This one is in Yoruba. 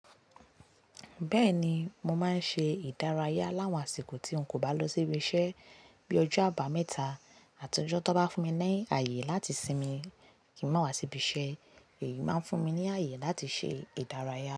Bẹ́ẹ̀ni, mo máa ń ṣe ìdárayá láwọn àsìkò tí n kò bá lọ síbi iṣẹ́. Bí ojo àbámẹ́ta àti ọjọ́ tan bá fún mi ní ààyè láti sinmi kì í máa wá síbi iṣẹ́, èyí máa ń fún mi ní ààyè láti ṣe ìdárayá.